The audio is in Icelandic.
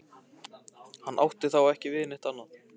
Hann átti þá ekki við neitt annað.